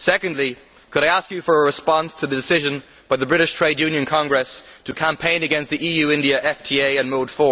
Secondly, I would ask you for a response to the decision by the British Trades Union Congress to campaign against the EU India FTA and Mode